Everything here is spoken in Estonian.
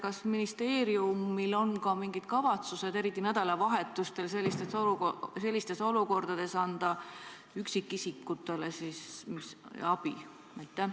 Kas ministeeriumil on mingid plaanid, kuidas sellistes olukordades, ka nädalavahetustel, üksikisikutele abi anda?